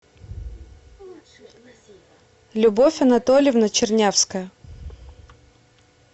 любовь анатольевна чернявская